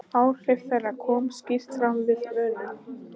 Áhrif þeirra koma skýrt fram við vönun.